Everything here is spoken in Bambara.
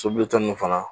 Sobilita nunnu fana